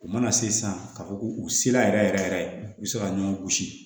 U mana se san ka fɔ k'u sela yɛrɛ yɛrɛ yɛrɛ u bɛ se ka ɲɔgɔn gosi